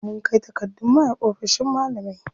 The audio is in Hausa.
Mun kai takardun my oficin malamai.